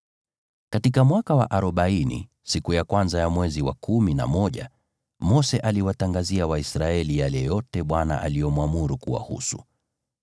Katika mwaka wa arobaini, siku ya kwanza ya mwezi wa kumi na moja, Mose aliwatangazia Waisraeli yale yote Bwana aliyomwamuru kuwahusu.